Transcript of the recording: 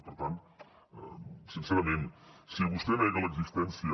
i per tant sincerament si vostè nega l’existència